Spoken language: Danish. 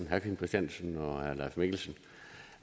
herre kim christiansen og herre leif mikkelsen